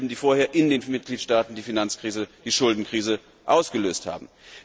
Das sind dieselben, die vorher in den Mitgliedstaaten die Finanzkrise, die Schuldenkrise ausgelöst haben.